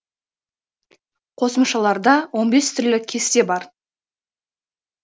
қосымшаларда он бес түрлі кесте бар